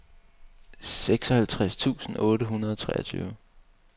seksoghalvtreds tusind otte hundrede og treogtyve